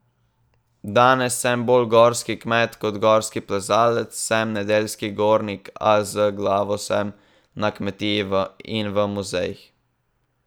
Danes sem bolj gorski kmet kot gorski plezalec, sem nedeljski gornik, a z glavo sem na kmetiji in v muzejih ...